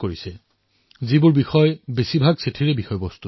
এই চিঠিসমূহত এই বাৰ্তাসমূহত মই এটা কথা সাদৃশ্যতা দেখিবলৈ পাইছো